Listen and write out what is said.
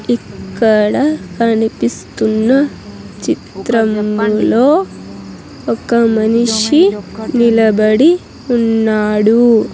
ఇక్కడ కనిపిస్తున్న చిత్రంలో ఒక మనిషి నిలబడి ఉన్నాడు.